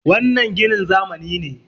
wannan ginin zamani ne